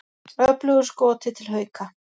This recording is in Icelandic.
Öflugur Skoti til Hauka